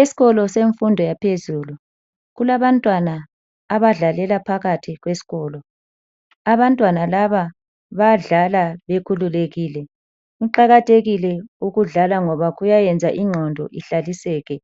Esikolo semfundo yaphezulu kulabantwana abadlalela phakathi kwesikolo. Abantwana laba bayadlala bekhululekile. Kuqakathekile ukudlala ngoba kuyayenza ingqondo ihlaliseke